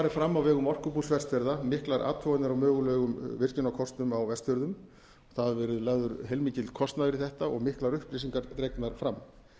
fram á vegum orkubús vestfjarða miklar athuganir á mögulegum virkjunarkostum á vestfjörðum það hefur verið lagður heilmikill kostnaður í þetta og miklar upplýsingar dregnar fram